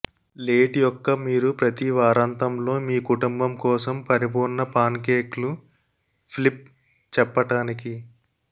let యొక్క మీరు ప్రతి వారాంతంలో మీ కుటుంబం కోసం పరిపూర్ణ పాన్కేక్లు ఫ్లిప్ చెప్పటానికి